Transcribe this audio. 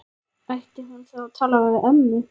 Ætti hún þá að tala við ömmu?